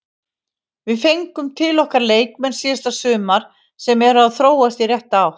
Við fengum til okkar leikmenn síðasta sumar sem eru að þróast í rétta átt.